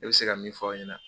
N bɛ se ka min fɔ aw ɲɛna.